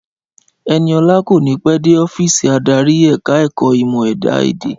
Ẹniọlá kò ní pẹ́ dé ọ́fíìsì adarí ẹ̀ka ẹ̀kọ́ ìmọ̀ ẹ̀dá èdè